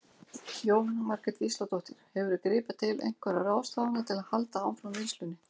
Jóhanna Margrét Gísladóttir: Hefurðu gripið til einhverja ráðstafana til að halda áfram vinnslunni?